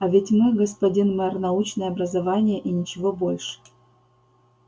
а ведь мы господин мэр научное образование и ничего больше